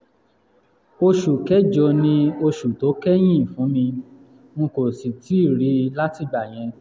oṣù kẹjọ ni oṣù tó kẹ̀yìn fún mi um n kò sì rí i látìgbà yẹn